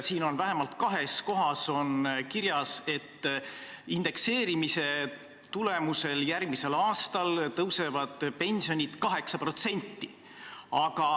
Siin on vähemalt kahes kohas kirjas, et indekseerimise tulemusel järgmisel aastal tõusevad pensionid 8%.